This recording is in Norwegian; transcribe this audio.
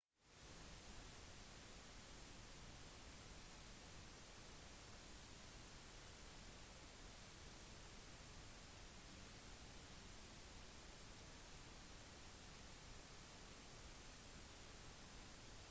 enceladus er det mest reflekterende objektet i solsystemet vårt det reflekterer rundt 90 % av alt sollys som treffer det